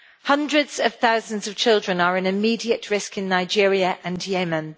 Hundreds of thousands of children are in immediate risk in Nigeria and Yemen.